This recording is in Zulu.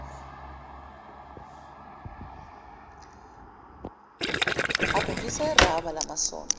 agugisa irabha yamasondo